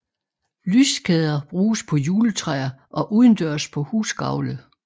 Lyskæder bruges på juletræer og udendørs på husgavle